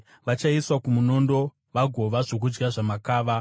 Vachaiswa kumunondo vagova zvokudya zvamakava.